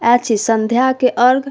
अए छी संध्या के अर्ग।